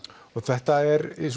og þetta er